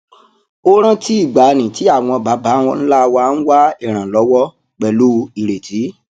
ó rántí ìgbàanì tí àwọn baba ńlá wa ń wá ìrànlọwọ pẹlú ìrètí